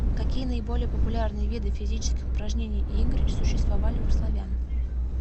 какие наиболее популярные виды физических упражнений и игр существовали у славян